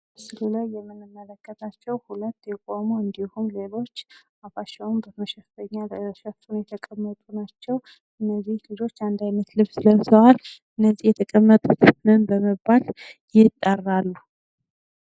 በምስሉ ላይ የምንመለከታቸው ሁለት የቆሙ እንዲሁም ሌሎች አፋቸውን በመሸፈኛ ሸፍነው የተቀመጡ ናቸው። እንዚህ ልጆች አንድ አይነት ልብስ ለብሰዋል፤ እነዚህ የተቀመጡት ምን በመባል ይጠራሉ?